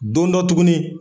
Don dɔ tugunni.